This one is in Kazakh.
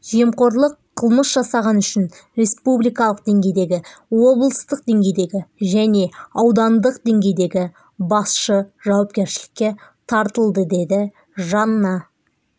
жемқорлық қылмыс жасағаны үшін республикалық деңгейдегі облыстық деңгейдегі және аудандық деңгейдегі басшы жауапкершілікке тартылды деді жанна